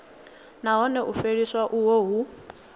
nahone u fheliswa uho hu